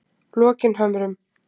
Lokinhömrum